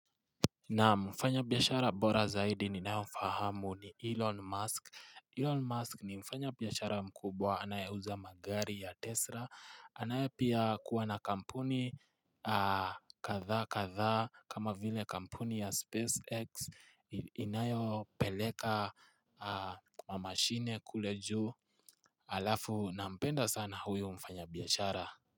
Na mfanya biashara bora zaidi ninaye mfahamu ni Elon Musk. Elon Musk ni mfanya biyashara mkubwa anayeuza magari ya Tesla. Anayepia kuwa na kampuni katha katha kama vile kampuni ya SpaceX inayo peleka kwa mashine kule juu. Alafu na mpenda sana huyu mfanya biashara.